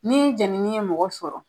Ni jɛnini ye mɔgɔ sɔrɔ